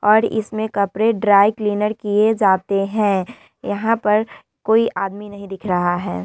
और इसमें कपड़े ड्राई क्लीनर किये जाते है यहाँ पर कोई आदमी नहीं दिख रहा है ।